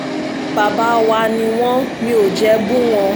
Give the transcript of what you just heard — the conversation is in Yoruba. bàbá wa ni wọ́n mi ò jẹ́ bú wọn